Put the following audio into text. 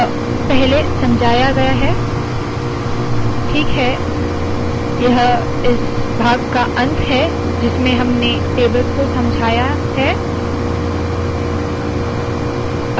यह पहले समझाया गया है ठीक है यह इस भाग का अंत है जिसमें हमने टेबल्स को समझाया है